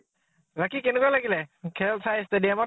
বাকী কেনেকুৱা লাগিলে খেল চাই গুৱাহাটী ত ?